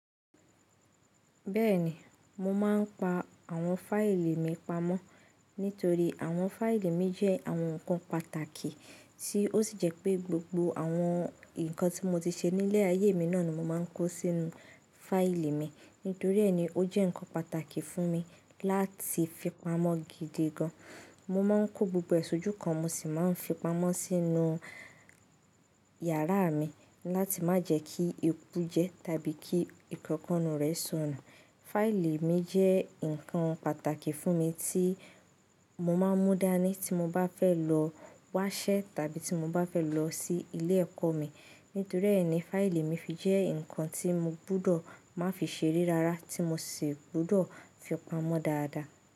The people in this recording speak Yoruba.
Bẹ́ẹ̀ni, mo máa ń pa àwọn fáìlì mi pamọ́. Nítorí àwọn fáìlì mi jẹ́ àwọn nǹkan pàtàkì tí ó sì jẹ́ pé gbogbo àwọn nǹkan tí mo ti ṣe nílé ayé mi náà ni mo máa ń kó sínú fáìlì mi. Nítorí ẹ́ ni ó jẹ́ nǹkan pàtàkì fún mi láti fi pamọ́ gidi gan. Mo máa ń kó gbogbo è sojúkan, mo sì máa ń fi pamọ́ sínú yàrá mi láti má jẹ́ kí ékú jẹ tàbí kí ìkọ́kọ́nu rẹ̀ so nù. Fáìlì mi jẹ́ nǹkan pàtàkì fún mi tí mo máa ń mú dání tí mo bá fẹ́ lọ wáṣẹ́ tàbí tí mo bá fẹ́ lọ sí ilé ẹ̀kọ́ mi. Nítorí ẹ́ ni fáìlì mi fi jẹ́ nǹkan tí mo gbudọ̀ má fi ṣeré rárá tí mo sì gbudọ̀ fi pamọ́ dáadáa.